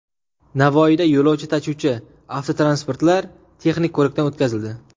Navoiyda yo‘lovchi tashuvchi avtotransportlar texnik ko‘rikdan o‘tkazildi .